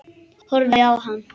Horfið á hann.